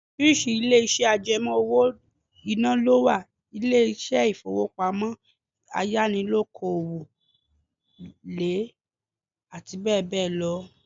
Oríṣi ilé iṣẹ́ àjẹmó owó-ìná lọ wà; ilé ifowopamo, Ayánilówókọ́lé, àti bẹẹ bẹẹ lọ.